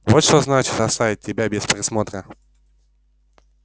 вот что значит оставить тебя без присмотра